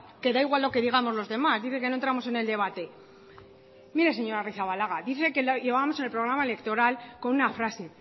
da igual lo que digamos los demás dice que no entramos en el debate mire señora arrizabalaga dice que lo llevábamos en el programa electoral con una frase